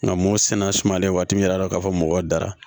Nka mun sɛnɛ sumalen waati min y'a dɔ ka fɔ mɔgɔw dara